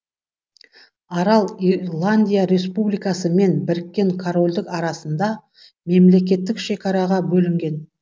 арал ирландия республикасы мен біріккен корольдік арасында мемлекеттік шекараға бөлінген